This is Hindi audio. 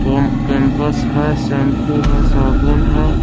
पोम कैंपस है शैंपू है साबुन है।